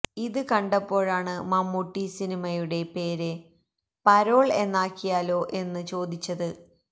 ഇത് കണ്ടപ്പോഴാണ് മമ്മൂട്ടി സിനിമയുടെ പേര് പരോള് എന്നാക്കിയാലോ എന്ന് ചോദിച്ചത്